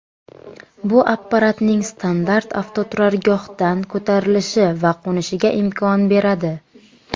Bu apparatning standart avtoturargohdan ko‘tarilishi va qo‘nishiga imkon beradi.